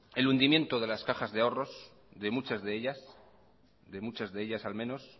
el hundimiento de las cajas de ahorros de muchas de ellas al menos